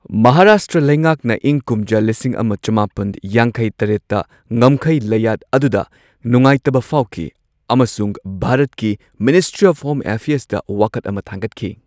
ꯃꯍꯥꯔꯥꯁꯇ꯭ꯔ ꯂꯩꯉꯥꯛꯅ ꯏꯪ ꯀꯨꯝꯖꯥ ꯂꯤꯁꯤꯡ ꯑꯃ ꯆꯃꯥꯄꯟ ꯌꯥꯡꯈꯩ ꯇꯔꯦꯠꯇ ꯉꯝꯈꯩ ꯂꯩꯌꯥꯠ ꯑꯗꯨꯗ ꯅꯨꯡꯉꯥꯏꯇꯕ ꯐꯥꯎꯈꯤ꯫ ꯑꯃꯁꯨꯡ ꯚꯥꯔꯠꯀꯤ ꯃꯤꯅꯤꯁꯇ꯭ꯔꯤ ꯑꯣꯐ ꯍꯣꯝ ꯑꯦꯐꯤꯌꯔꯁꯇ ꯋꯥꯀꯠ ꯑꯃ ꯊꯥꯡꯒꯠꯈꯤ꯫